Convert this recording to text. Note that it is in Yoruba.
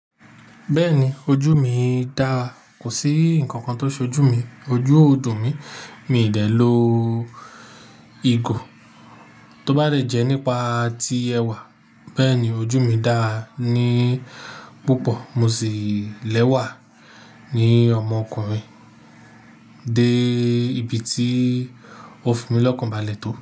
Bẹ́ẹ̀ni ojú mi dára. Kò sí ǹkankan tó ṣe ojú mi. Ojú o dùn mi, mi ò dè lo igo tó bá dè jẹ́ nípa ti ẹwà. Bẹ́ẹ̀ni ojú mi dára ní púpọ̀. Mo sì lẹ́wà ní ọmọkùnrin dé ibi tí ó fún mi lọ́kàn balẹ̀ tó.